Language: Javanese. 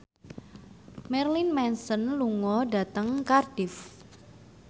Marilyn Manson lunga dhateng Cardiff